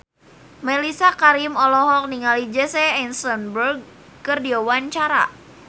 Mellisa Karim olohok ningali Jesse Eisenberg keur diwawancara